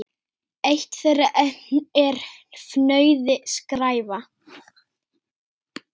Eitt þeirra er fnauði: skræfa.